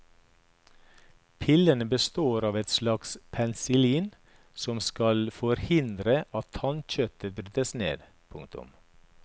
Pillene består av et slags penicillin som skal forhindre at tannkjøttet brytes ned. punktum